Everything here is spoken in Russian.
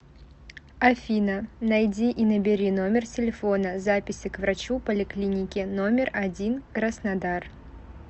афина найди и набери номер телефона записи к врачу поликлиники номер один краснодар